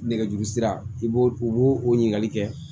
Nɛgɛjuru sira i b'o u b'o o ɲininkali kɛ